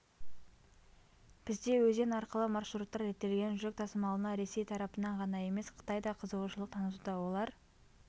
бізде өзен арқылы маршруттар реттелген жүк тасымалына ресей тарапынан ғана емес қытай да қызығушылық танытуда олар